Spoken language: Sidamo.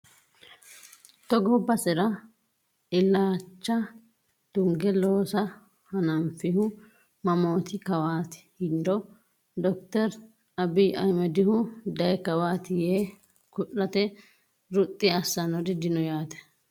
Togo basera illacha tunge loosa hananfihu mamoti kawati yiniro dokkittori Abiy Ahimedihu dayi kawati yee ku'late ruxi assanori dino yaate.